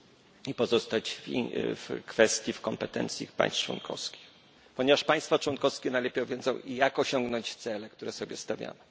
Powinno to pozostać w gestii, w kompetencji państw członkowskich, ponieważ państwa członkowskie najlepiej wiedzą, jak osiągnąć cele, które sobie stawiamy.